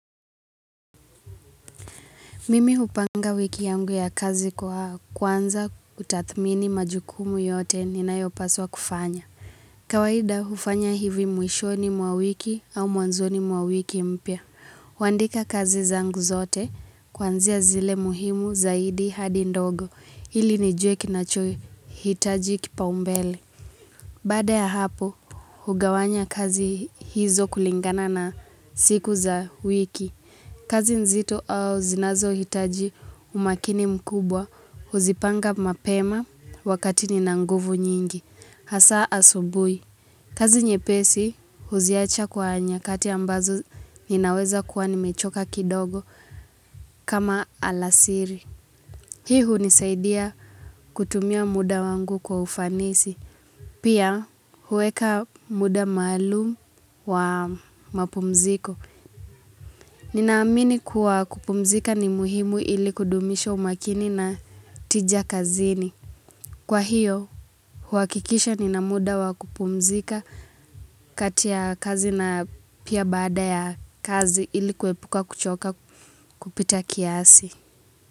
Mimi hupanga wiki yangu ya kazi kwa kwanza kutathmini majukumu yote ninayopaswa kufanya. Kawahida hufanya hivi mwishoni mwa wiki au mwanzoni mwa wiki mpya. Wandika kazi zangu zote kwanzia zile muhimu zaidi hadi ndogo ili nijue kinachoe hitaji kipaumbele. Bada ya hapo hugawanya kazi hizo kulingana na siku za wiki. Kazi nzito au zinazo hitaji umakini mkubwa huzipanga mapema wakati nina nguvu nyingi. Hasa asubui. Kazi nye pesi huziacha kwa nyakati ambazo ninaweza kuwa nimechoka kidogo kama alasiri. Hi unisaidia kutumia muda wangu kwa ufanisi. Pia huweka muda malumu wa mapumziko. Ninaamini kuwa kupumzika ni muhimu ili kudumisha umakini na tija kazini. Kwa hiyo, huakikisha ninamuda wa kupumzika katia kazi na pia bada ya kazi ili kuepuka kuchoka kupita kiasi.